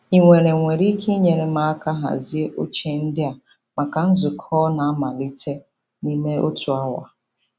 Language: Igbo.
Ị nwere nwere ike inyere m aka hazie oche ndị a maka nzukọ na-amalite n'ime otu awa.